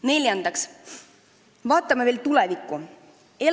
Neljandaks, vaatame veel tulevikku!